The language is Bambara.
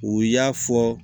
U y'a fɔ